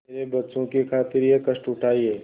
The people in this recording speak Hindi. मेरे बच्चों की खातिर यह कष्ट उठायें